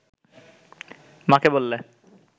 মা’কে বললে